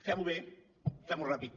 fem ho bé fem ho ràpid